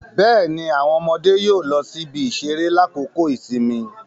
Bẹẹni, awọn ọmọde yóò lọ sí ibi-iṣere lakoko ìsinmi